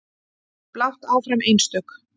Blátt áfram einstök.